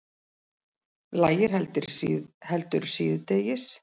Lægir heldur síðdegis